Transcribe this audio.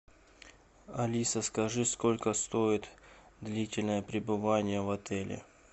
алиса скажи сколько стоит длительное пребывание в отеле